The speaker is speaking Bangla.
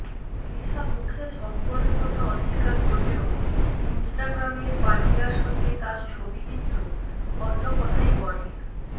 লিশা মুখে সম্পর্কের কথা অস্বীকার করলেও ইনস্টাগ্রামে পান্ডিয়ার সঙ্গে তাঁর ছবি কিন্তু অন্য কথাই বলে